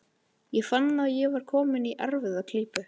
Ég fann að ég var kominn í erfiða klípu.